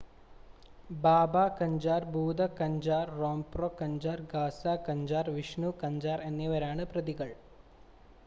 ബാബ കഞ്ചാർ ഭൂത കഞ്ചാർ റാംപ്രോ കഞ്ചാർ ഗാസ കഞ്ചാർ വിഷ്ണു കഞ്ചാർ എന്നിവരാണ് പ്രതികൾ